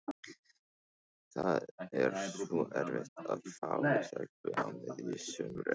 Það er svo erfitt að fá stelpu á miðju sumri.